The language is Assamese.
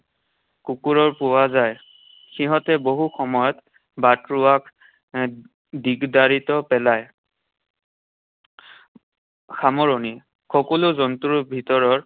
কুকুৰো পোৱা যায়। সিহঁতে বহু সময়ত বাটৰুৱাক আহ দিগদাৰিতো পেলায়। সামৰণি। সকলো জন্তুৰ ভিতৰৰ